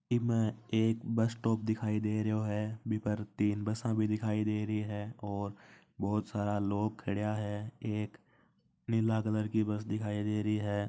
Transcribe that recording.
में एक bus stop दिख रहा हैं वह पर तीन बस भी दिख रही हैं और बहुत सारे लोग खड़ा हैं यक एक पिला कलर की बस दिख रही हैं।